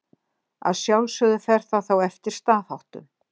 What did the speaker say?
Að sjálfsögðu fer það þá eftir staðháttum.